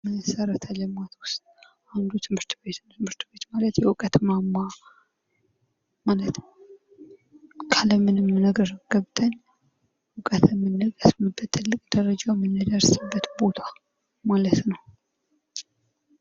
ከመሰረተ ልማቶች ውስጥ አንዱ ትምህርት ቤት ነው ካለምንም ነገር ገብተን እውቀትን የምንቀስምበት ማለት ነው ትልቅ ደረጃ ነው እ ምንደርስበት ማለት ነው።